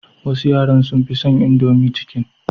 Wasu yaran sun fi son indomie chicken.